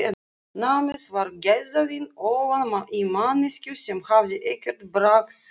Námið var gæðavín ofan í manneskju sem hafði ekkert bragðskyn.